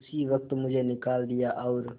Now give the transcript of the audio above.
उसी वक्त मुझे निकाल दिया और